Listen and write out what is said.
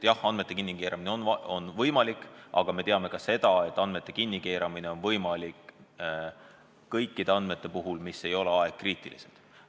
Jah, andmete kinnikeeramine on võimalik, aga me teame ka seda, et see on võimalik kõikide andmete puhul, mis ei ole ajakriitilised.